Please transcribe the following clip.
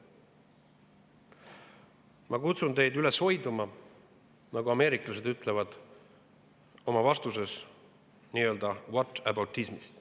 Ma kutsun teid üles hoiduma, nagu ameeriklased ütlevad, oma vastuses whataboutism'ist.